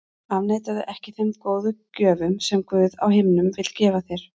Afneitaðu ekki þeim góðu gjöfum sem Guð á himnum vill gefa þér.